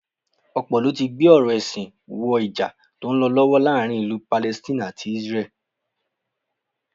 Ọ̀pọ̀ ló ti gbé ọ̀rọ̀ ẹ̀sìn wọ Ìjà tó ń lọ lọ́wọ́ láàárín ìlú Palestine àti Isreal